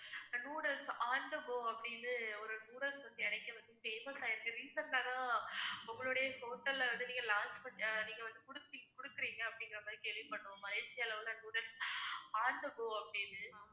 noodles on the go அப்படின்னு ஒரு noodles கிடைக்குது famous ஆகியிருக்கு recent ஆ தான் உங்களுடைய hotel ல வந்து நீங்க launch பண்~, நீங்க வந்து குடு~ குடுக்குறீங்க அப்பிடிங்குறமாதிரி கேள்விப்படுறோம் மலேசியால உள்ள noodles on the go அப்படின்னு